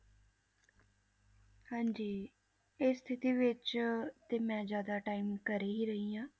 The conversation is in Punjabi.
ਹਾਂਜੀ ਇਹ ਸਥਿਤੀ ਵਿੱਚ ਤੇ ਮੈਂ ਜ਼ਿਆਦਾ time ਘਰੇ ਹੀ ਰਹੀ ਹਾਂ,